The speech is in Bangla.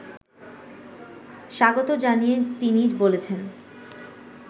স্বাগত জানিয়ে তিনি বলেছেন